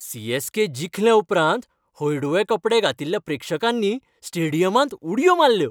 CSK. जिखले उपरांत हळडुवें कपडे घातिल्ल्या प्रेक्षकांनी स्टेडियमांत उडयो मारल्यो